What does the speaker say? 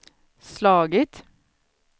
slagit